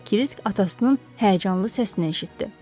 Və Krisk atasının həyəcanlı səsini eşitdi.